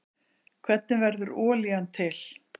Hvernig verður olían til?